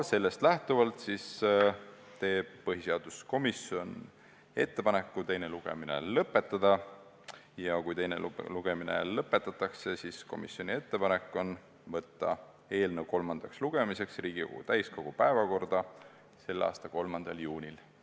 Sellest lähtuvalt teeb põhiseaduskomisjon ettepaneku teine lugemine lõpetada ja kui teine lugemine lõpetatakse, siis on komisjoni ettepanek võtta eelnõu kolmandaks lugemiseks Riigikogu täiskogu päevakorda selle aasta 3. juuniks.